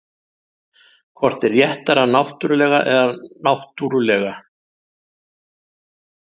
Hvort er réttara náttúrlega eða náttúrulega?